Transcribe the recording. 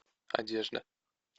одежда